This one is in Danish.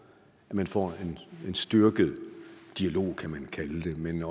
at man får en styrket dialog kan man kalde det men